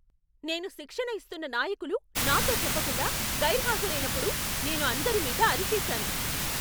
నేను శిక్షణ ఇస్తున్న నాయకులు నాతో చెప్పకుండా గైర్హాజరైనప్పుడు నేను అందరిమీద అరిచేసాను.